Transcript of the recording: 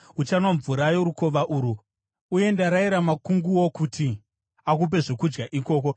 Uchanwa mvura yorukova urwu, uye ndarayira makunguo kuti akupe zvokudya ikoko.”